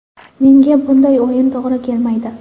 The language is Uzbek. Menga bunday o‘yin to‘g‘ri kelmaydi.